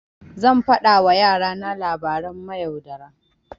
Zan faɗa wa yara na labaran mayaudara.